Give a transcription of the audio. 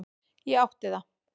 Ég átti það.